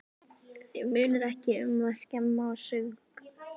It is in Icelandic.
Þig munar ekki um að skemma og saurga.